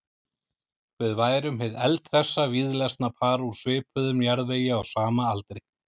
Við værum hið eldhressa víðlesna par úr svipuðum jarðvegi á sama aldri.